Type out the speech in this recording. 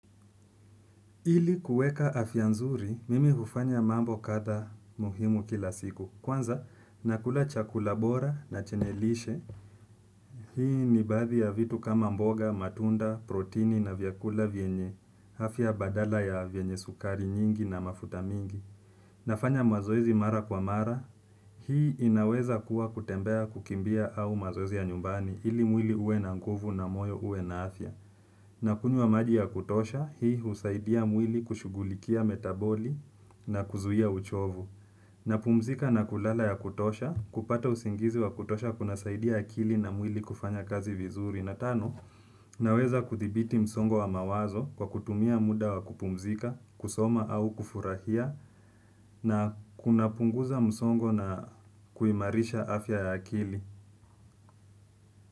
Ili kuweka afya nzuri, mimi hufanya mambo kadha muhimu kila siku. Kwanza, nakula chakula bora na chenye lishe. Hii ni baadhi ya vitu kama mboga, matunda, protini na vyakula vyenye. Afya badala ya vyenye sukari nyingi na mafuta mingi. Nafanya mazoezi mara kwa mara. Hii inaweza kuwa kutembea kukimbia au mazoezi ya nyumbani. Ili mwili uwe na nguvu na moyo uwe na afya. Na kunywa maji ya kutosha, hii husaidia mwili kushughulikia metaboli na kuzuia uchovu. Na pumzika na kulala ya kutosha, kupata usingizi wa kutosha kuna saidia akili na mwili kufanya kazi vizuri. Na tano, na weza kuthibiti msongo wa mawazo kwa kutumia muda wa kupumzika, kusoma au kufurahia, na kunapunguza msongo na kuimarisha afya ya akili.